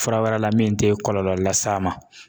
Fura wɛrɛ la min te kɔlɔlɔ las'a ma